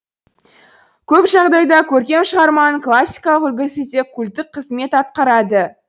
көп жағдайда көркем шығарманың классикалық үлгісі де культтік қызмет атқарады